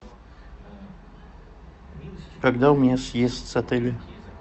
когда у меня съезд с отеля